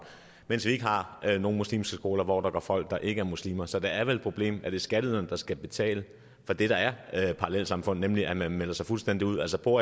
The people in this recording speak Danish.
mens vi ikke har nogen muslimske skoler hvor der går folk der ikke er muslimer så det er vel et problem at det er skatteyderne der skal betale for det der er et parallelsamfund nemlig at man melder sig fuldstændig ud altså bor